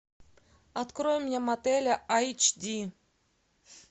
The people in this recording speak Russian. открой мне мотеля айч ди